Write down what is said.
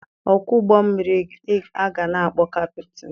Ọkwọ ụgbọmmiri ka a na-akpọ kaptịn.